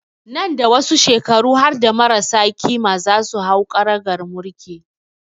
Nan da wasu shekaru harda marasa ƙima za su hau karagar mulki